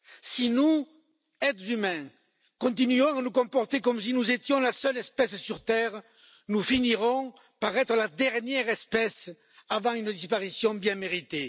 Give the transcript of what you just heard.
Si nous, êtres humains, continuons à nous comporter comme si nous étions la seule espèce sur Terre, nous finirons par être la dernière espèce avant une disparition bien méritée.